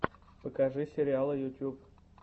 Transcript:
покажи сериалы ютьюб